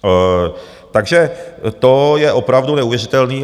Takže to je opravdu neuvěřitelný.